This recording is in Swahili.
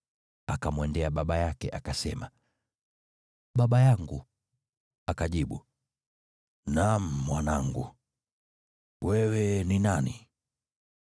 Akamwendea baba yake akasema, “Baba yangu.” Akajibu, “Naam, mwanangu, wewe ni nani?”